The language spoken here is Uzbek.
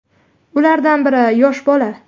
Ulardan biri yosh bola.